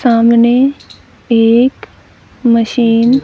सामने एक मशीन ।